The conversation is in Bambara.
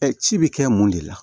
ci bi kɛ mun de la